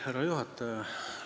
Härra juhataja!